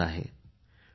Babasaheb Dr